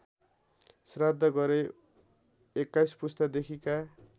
श्राद्ध गरे २१ पुस्तादेखिका